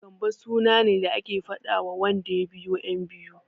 Gambo suna ne da ake faɗawa wanda ya biyo ƴan biyu.